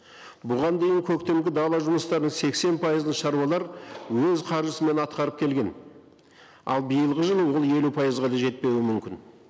бұған дейін көктемгі дала жұмыстарының сексен пайызын шаруалар өз қаржысымен атқарып келген ал биылғы жылы ол елу пайызға да жетпеуі мүмкін